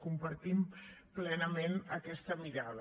compartim plenament aquesta mirada